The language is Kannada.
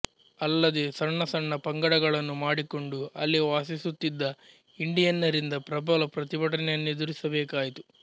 ಅಲ್ಲದೆ ಸಣ್ಣ ಸಣ್ಣ ಪಂಗಡಗಳನ್ನು ಮಾಡಿಕೊಂಡು ಅಲ್ಲಿ ವಾಸಿಸುತ್ತಿದ್ದ ಇಂಡಿಯನ್ನರಿಂದ ಪ್ರಬಲ ಪ್ರತಿಭಟನೆಯನ್ನೆದುರಿಸಬೇಕಾಯಿತು